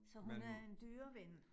Så hun er en dyreven